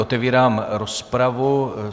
Otevírám rozpravu.